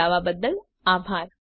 જોડાવા બદ્દલ આભાર